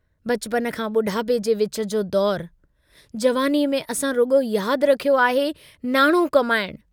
बचपन खां बुढापे जे विच जो दौरु, जवानीअ में असां रुगो याद रखियो आहे नाणो कमाइण।